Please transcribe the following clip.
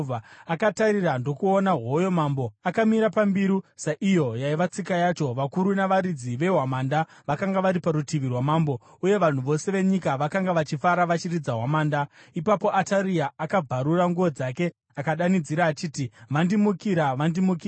Akatarira ndokuona hoyo mambo, akamira pambiru, saiyo yaiva tsika yacho. Vakuru navaridzi vehwamanda vakanga vari parutivi rwamambo, uye vanhu vose venyika vakanga vachifara vachiridza hwamanda. Ipapo Ataria akabvarura nguo dzake akadanidzira achiti, “Vandimukira! Vandimukira!”